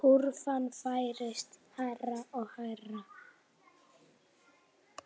Kúrfan færist hærra og hærra.